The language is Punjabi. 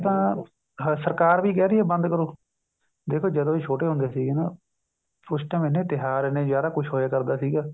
ਤਾਂ ਸਰਕਾਰ ਵੀ ਕਹਿ ਰਹੀ ਹੈ ਬੰਦ ਕਰੋ ਦੇਖੋ ਜਦੋਂ ਅਸੀਂ ਛੋਟੇ ਹੁੰਦੇ ਸੀ ਨਾ ਉਸ time ਇੰਨੇ ਤਿਉਹਾਰ ਇੰਨੇ ਜਿਆਦਾ ਕੁੱਝ ਹੋਇਆ ਕਰਦਾ ਸੀਗਾ